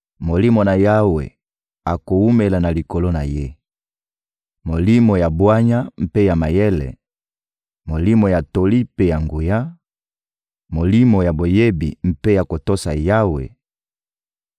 Molimo na Yawe akowumela na likolo na Ye: Molimo ya bwanya mpe ya mayele, Molimo ya toli mpe ya nguya, Molimo ya boyebi mpe ya kotosa Yawe;